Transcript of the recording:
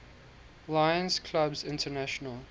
lions clubs international